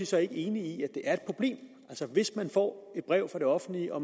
så ikke enig i at det er et problem hvis man får et brev fra det offentlige og